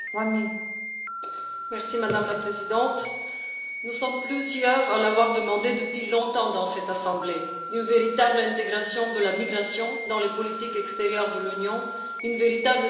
Madame la Présidente, nous sommes plusieurs à avoir demandé depuis longtemps dans cette Assemblée une véritable intégration de la migration dans les politiques extérieures de l'Union et une véritable diplomatie de la migration.